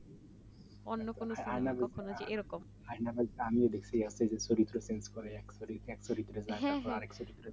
আয়না বাঁধি আমিও দেখেছি